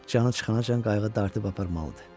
Canı çıxancan qayğı dartıb aparmalıdır.